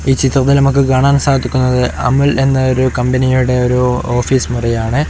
ഈ ചിത്രത്തിൽ നമുക്ക് കാണാൻ സാധിക്കുന്നത് അമുൽ എന്ന കമ്പനിയുടെ ഒരു ഓഫീസ് മുറിയാണ്.